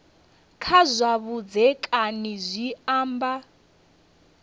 kha zwa vhudzekani zwi amba